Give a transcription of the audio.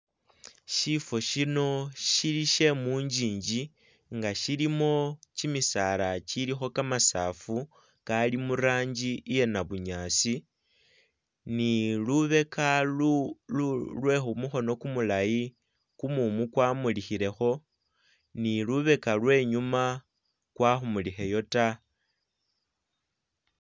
Shifo shino shili shyemunjinji nga shilimo chimisaala chiliho kamasafu kali muranji iye nabunyasi ni lubeka Iulu lwehumuhono kumulayi kumumu kwamulihileho ni lubeka lwenyuma kwahumuliheyo taa